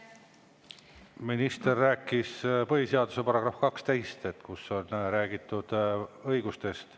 Minister rääkis põhiseaduse §‑st 12, kus on räägitud õigustest.